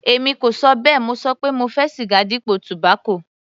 Èmi kò ṣọ bẹ́ẹ̀, mo ṣọ pé mo fẹ́ siga dípò tobacco.